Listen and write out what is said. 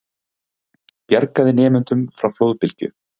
Bjargaði nemendum frá flóðbylgju